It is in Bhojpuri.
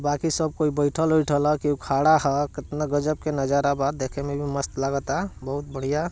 बाकी सब कोई बैठल उठल हेय केहू खड़ा हेय केतना गजब के नजारा बा देखे मे भी मस्त लगाता बहुत बढ़िया।